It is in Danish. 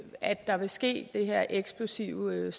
at der vil ske det her eksplosive